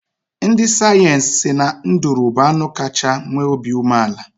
Ndị sayensị si na nduru bụ anụ kachaa nwee obi umeala.